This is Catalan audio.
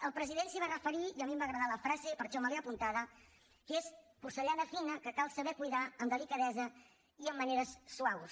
el president s’hi va referir i a mi em va agradar la frase per això me l’he apuntada que és porcellana fina que cal saber cuidar amb delicadesa i amb maneres suaus